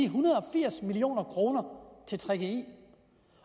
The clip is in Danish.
hundrede og firs million kroner til gggi